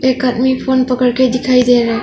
एक आदमी फोन पकड़ के दिखाई दे रहा है।